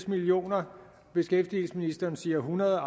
million kr beskæftigelsesministeren siger hundrede